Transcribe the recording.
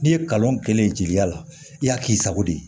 N'i ye kalan kɛlen jeliya la i y'a k'i sago de ye